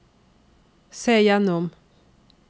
se gjennom